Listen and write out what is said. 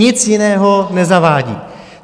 Nic jiného nezavádí.